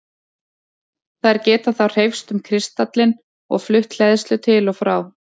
Þær geta þá hreyfst um kristallinn og flutt hleðslu til og frá.